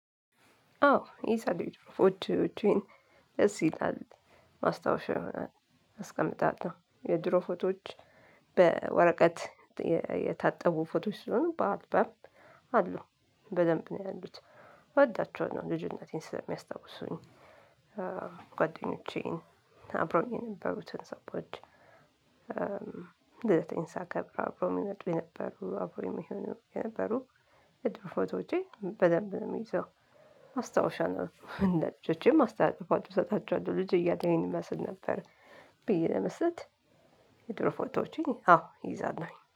አዎ የሰሊድ ፎቶዎቼን ደስ ይላል። ማስታወሻ ይሆናል። አስቀምጣለሁ። የድሮ ፎቶዎች በወረቀት የታጠቡ ፎቶዎች ስለሆኑ በአልበም አሉ። በደንብ ነው ያሉት እወዳቸዋለሁ። ልጅነቴን ስለሚያስታውሱኝ ጓደኞቼን አብረውኝ የነበሩትን ሰዎች ልደቴን ሳከብር አብረው የሚመጡ የነበሩ አብረው የሚሆኑ የነበሩ የድሮ ፎቶዎቼን በደንብ ነው የምይዘው። ማስታወሻ ነው። ለልጆቼም አስተላልፋለሁ። እሰጣቸዋለሁ። ልጅ እያለሁ ይህን እመስል ነበረ ብዬ ለመስጠት የድሮ ፎቶዎችን አዎ እይዛለሁኝ።